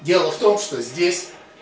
дело в том что здесь